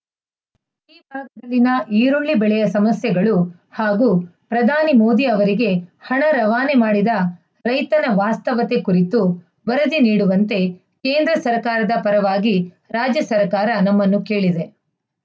ಲ್ಲಿನ ಈರುಳ್ಳಿ ಬೆಳೆಯ ಸಮಸ್ಯೆಗಳು ಹಾಗೂ ಪ್ರಧಾನಿ ಮೋದಿ ಅವರಿಗೆ ಹಣ ರವಾನೆ ಮಾಡಿದ ರೈತನ ವಾಸ್ತವತೆ ಕುರಿತು ವರದಿ ನೀಡುವಂತೆ ಕೇಂದ್ರ ಸರ್ಕಾರದ ಪರವಾಗಿ ರಾಜ್ಯ ಸರ್ಕಾರ ನಮ್ಮನ್ನು ಕೇಳಿದೆ